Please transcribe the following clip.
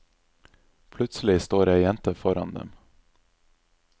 Plutselig står ei jente foran dem.